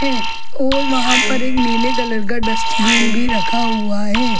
और वहाँ पर एक नीले कलर का डस्टबिन भी रखा हुआ है।